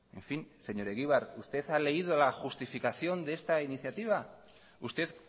en fin señor egibar usted ha leído la justificación de esta iniciativa usted